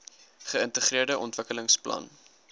geintegreerde ontwikkelings plan